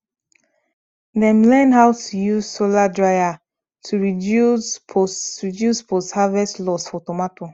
dem learn how to use solar dryer to reduce post reduce post harvest loss for tomato